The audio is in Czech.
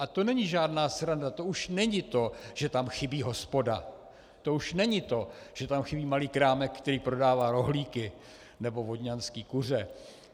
A to není žádná sranda, to už není to, že tam chybí hospoda, to už není to, že tam chybí malý krámek, který prodává rohlíky nebo vodňanské kuře.